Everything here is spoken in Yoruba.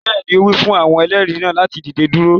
Bẹẹni, o wi fun awọn ẹlẹri naa lati dide duro